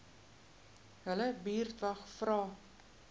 julle buurtwag vra